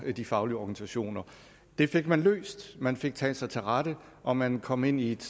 og de faglige organisationer dem fik man løst man fik talt sig til rette og man kom ind i et